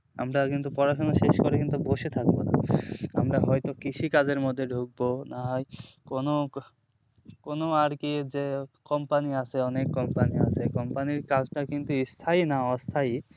আমরা কিন্তু পড়াশোনা শেষ করে কিন্তু বসে থাকবেনা আমরা হয়তো কৃষি কাজের মধ্যে ঢুকবো না হয় কোনো কোনো আর কি যে company আছে অনেক company আছে company র কাজ টা কিন্তু স্থায়ী না অস্থায়ী